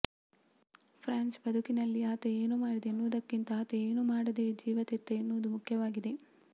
Franz ಬದುಕಿನಲ್ಲಿ ಆತ ಏನು ಮಾಡಿದ ಎನ್ನುವುದಕ್ಕಿಂತ ಆತ ಏನು ಮಾಡದೆ ಜೀವತೆತ್ತ ಎನ್ನುವುದು ಮುಖ್ಯವಾಗುತ್ತದೆ